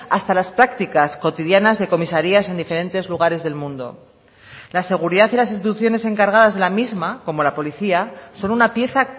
hasta las prácticas cotidianas de comisarías en diferentes lugares del mundo la seguridad y las instituciones encargadas de la misma como la policía son una pieza